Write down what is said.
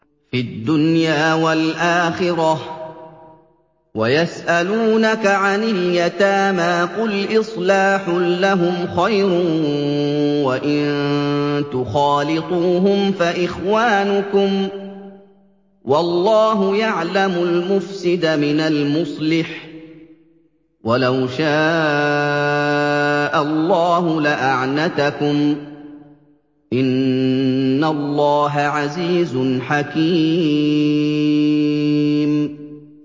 فِي الدُّنْيَا وَالْآخِرَةِ ۗ وَيَسْأَلُونَكَ عَنِ الْيَتَامَىٰ ۖ قُلْ إِصْلَاحٌ لَّهُمْ خَيْرٌ ۖ وَإِن تُخَالِطُوهُمْ فَإِخْوَانُكُمْ ۚ وَاللَّهُ يَعْلَمُ الْمُفْسِدَ مِنَ الْمُصْلِحِ ۚ وَلَوْ شَاءَ اللَّهُ لَأَعْنَتَكُمْ ۚ إِنَّ اللَّهَ عَزِيزٌ حَكِيمٌ